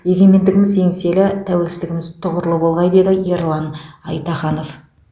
егемендігіміз еңселі тәуелсіздігіміз тұғырлы болғай деді ерлан айтаханов